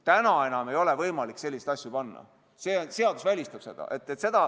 Täna ei ole enam võimalik selliseid nimesid panna, seadus välistab selle.